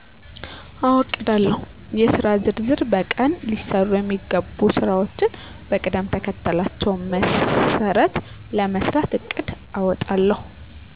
አዎ አቅዳለሁ :-የሥራ ዝርዝር በቀን ሊሠሩ የሚገቡ ሥራዎችን በቅደምተከተላቸው መሠረት ለመሥራት እቅድ አወጣለሁ።